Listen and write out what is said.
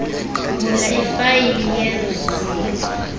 vula ifayile yeziko